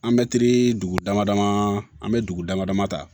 An mɛtiri dugu dama dama an bɛ dugu dama dama ta